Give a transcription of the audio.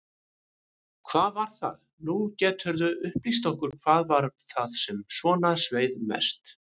Hvað var það, nú geturðu upplýst okkur, hvað var það sem svona sveið mest?